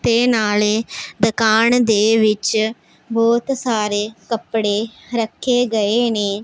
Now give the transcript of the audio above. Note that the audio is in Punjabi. ਤੇ ਨਾਲੇ ਦੁਕਾਨ ਦੇ ਵਿੱਚ ਬਹੁਤ ਸਾਰੇ ਕੱਪੜੇ ਰੱਖੇ ਗਏ ਨੇ।